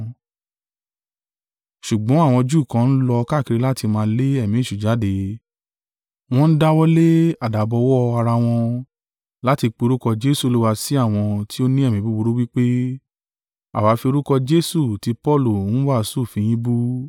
Ṣùgbọ́n àwọn Júù kan n lọ káàkiri láti máa le ẹ̀mí èṣù jáde, wọn dáwọ́lé àdábọwọ́ ara wọn, láti pé orúkọ Jesu Olúwa sí àwọn tí ó ni ẹ̀mí búburú, wí pé, “Àwa fi orúkọ Jesu tí Paulu ń wàásù fi yín bú.”